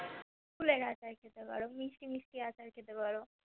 কুলের আচার খেতে পারো, মিষ্টি মিষ্টি আচার খেতে পারো